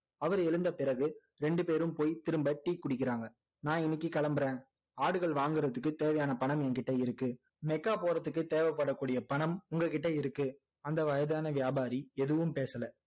அவர் எழுந்த பிறகு ரெண்டு பேரும் போய் திரும்ப tea குடிக்கிறாங்க நான் இன்னைக்கு கிளம்புறேன் ஆடுகள் வாங்குறதுக்கு தேவையான பணம் என் கிட்ட இருக்கு மெக்கா போறதுக்கு தேவை பட கூடிய பணம் உங்க கிட்ட இருக்கு அந்த வயதான வியாபாரி எதுவும் பேசல